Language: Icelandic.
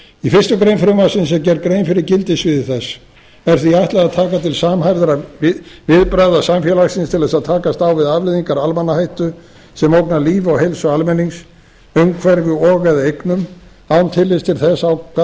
í fyrstu grein frumvarpsins er gerð grein fyrir gildissviði þess er því ætlað að taka til samhæfðra viðbragða samfélagsins til að takast á við afleiðingar almannahættu sem ógnar lífi og heilsu almennings umhverfi og eða eignum án tillits til þess af